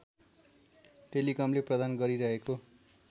टेलिकमले प्रदान गरिरहेको